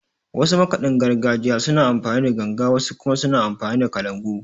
Wasu makaɗin gargajiyar suna amfani da Ganga, wasu kuma suna amfani da Kalangu.